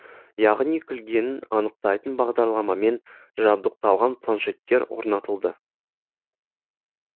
яғни күлгенін анықтайтын бағдарламамен жабдықталған планшеттер орнатылды